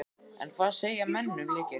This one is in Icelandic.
En hvað segja menn um leikinn?